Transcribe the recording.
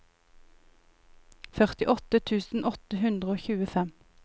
førtiåtte tusen åtte hundre og tjuefem